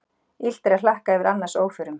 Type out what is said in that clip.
Illt er að hlakka yfir annars óförum.